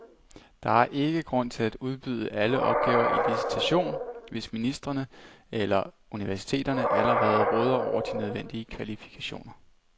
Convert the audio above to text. Der er ikke grund til at udbyde alle opgaver i licitation, hvis ministerierne eller universiteterne allerede råder over de nødvendige kvalifikationer.